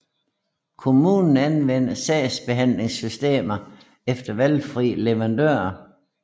Kommunerne anvender sagsbehandlingssystemer efter valgfri leverandør